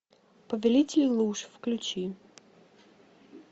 повелитель луж включи